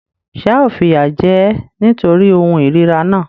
Ṣé ao fìyà jẹ ẹ́ nítorí ohun ìríra náà?